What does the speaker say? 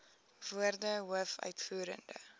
woorde hoof uitvoerende